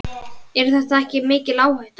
Er þetta ekki mikil áhætta?